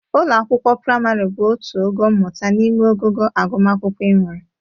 Ụlọ akwụkwọ prịmarị bụ otu ogo mmụta n'ime ogogo agụmakwụkwọ e nwere.